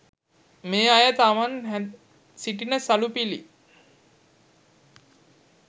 මේ අය තමන් හැඳ සිටින සළුපිළි